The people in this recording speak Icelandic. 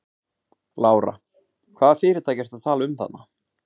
Lára: Hvaða fyrirtæki ertu að tala um þarna?